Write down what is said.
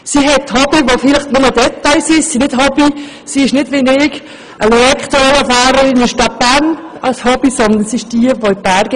Die Hobbies mögen ein Detail sein, doch Frau Mallepell ist nicht wie ich ElektroveloFahrerin in der Stadt Bern, sondern sie geht in die Berge.